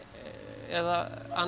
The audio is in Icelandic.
eða annars